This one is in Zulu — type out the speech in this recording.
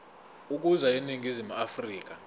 ukuza eningizimu afrika